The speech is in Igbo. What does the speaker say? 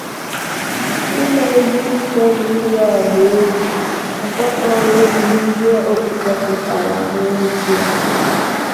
“ Ime ihe ike na iyi ọha egwu um ekwekọghị n’ihe okpukpe pụtara n’ezie. ”